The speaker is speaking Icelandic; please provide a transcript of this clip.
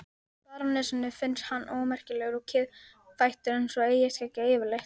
Barónessunni finnst hann ómerkilegur og kiðfættur eins og eyjarskeggjar yfirleitt.